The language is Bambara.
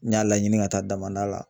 N y'a laɲini ka taa damada la